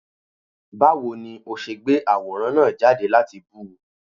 Báwo ni ó ṣe gbé àwòrán náà jáde láti bú ú?